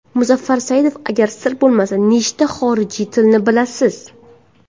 Muzaffar Saidov Agar sir bo‘lmasa nechta xorijiy tilni bilasiz?